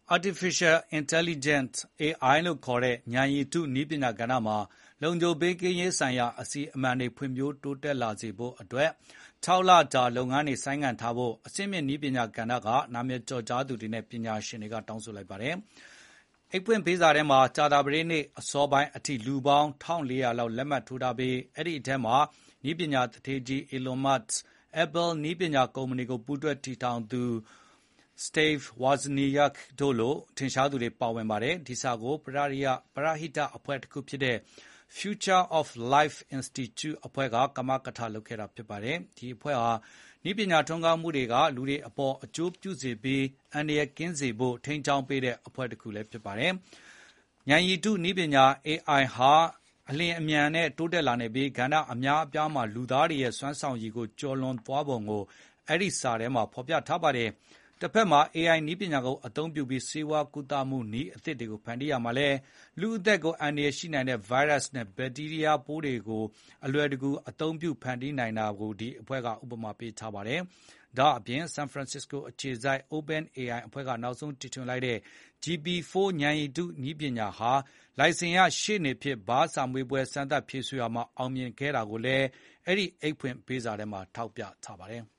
Artificial Intelligence (AI) လို့ခေါ်တဲ့ ဉာဏ်ရည်တုနည်းပညာကဏ္ဍမှာ လုံခြုံ ဘေးကင်းရေး ဆိုင်ရာ အစီအမံတွေ ဖွံ့ဖြိုးတိုးတက်လာစေဖို့ အတွက် ၆ လ ကြာ လုပ်ငန်းတွေ ဆိုင်းငံထားဖို့ အဆင့်မြင့် နည်းပညာကဏ္ဍက နာမည်ကျော်ကြားသူတွေနဲ့ ပညာရှင်တွေက လက်မှတ်ထိုး စာထုတ်ပြန်ပြီး တောင်းဆိုလိုက်ပါတယ်။ အဲဒီ အိတ်ဖွင့်ပေးစာမှာ ကြာသပတေးနေ့ အစောပိုင်းအထိ လူပေါင်း ၁,၄၀၀ လောက် လက်မှတ်ထိုးထားပြီး အဲဒီထဲမှာ နည်းပညာ သူဌေးကြီး အီလွန်မတ်စ်၊ Apple နည်းပညာ ကုမ္ပဏီ ကို ပူးတွဲတည်ထောင်သူ စတိဗ် ဝါဇနီယာခ် တို့လို ထင်ရှားသူတွေ ပါဝင်ပါတယ်။ ဒီစာကို ပရဟိတအဖွဲ့တခု ဖြစ်တဲ့ “Future of Life Institute” အဖွဲ့က ကမကထ လုပ်ခဲ့တာပါ။ ဒီအဖွဲ့ဟာ နည်းပညာ ထွန်းကားမှုတွေက လူတွေအပေါ် အကျိုးပြုစေပြီး အန္တရာယ်ကင်းစေဖို့ ထိန်းကျောင်းပေးတဲ့ အဖွဲ့ တခု ဖြစ်ပါတယ်။ ဉာဏ်ရည်တု နည်းပညာ (AI) ဟာ အလျင်အမြန်နဲ့မြန်နဲ့ တိုးတက်နေပြီး ကဏ္ဍ အများအပြားမှာ လူသားတွေရဲ့ စွမ်းဆောင်ရည်ကို ကျော်လွန်သွားပုံကို အဲဒီ စာထဲမှာ အသိအမှတ်ပြုထားပါတယ်။ တဖက်မှာလည်း AI ကိုအသုံးပြုပြီး ဆေးဝါးကုသနည်းအသစ်တွေကို ဖန်တီးရာမှာ ဒါက လူ့အသက်ကို အန္တရာယ် ရှိနိုင်တဲ့ ဗိုင်းရပ်စ်နဲ့ ဘက်တီးရီးယား ရောဂါပိုးတွေ ဖန်တီးဖို့ အလွယ်တကူအသုံးပြုနိုင်တာကို အဲဒီအဖွဲ့က ဥပမာပေးထားပါတယ်။ ဒါ့အပြင် ဆန်ဖရန်စစ္စကိုအခြေစိုက် OpenAI က နောက်ဆုံး တီထွင်လိုက်တဲ့ GPT-4 ဉာဏ်ရည်တု နည်းပညာက လိုင်စင်ရ ရှေ့နေဖြစ် ဘားစာမေးပွဲ စမ်းသပ် ဖြေဆိုတာမှာ အောင်မြင်ခဲ့တာကိုလည်း အဲဒီ အိတ်ဖွင့်ပေးစာမှာ ထောက်ပြထားပါတယ်။